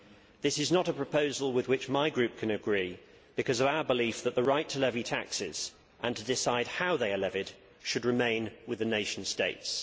This is not a proposal with which my Group can agree, because of our belief that the right to levy taxes and to decide how they are levied should remain with the nation states.